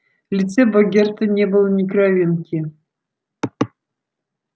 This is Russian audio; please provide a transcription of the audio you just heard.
в лице богерта не было ни кровинки